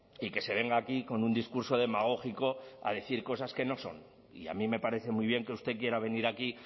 y que se venga aquí con un discurso demagógico a decir cosas que no son y a mí me parece muy bien que usted quiera venir aquí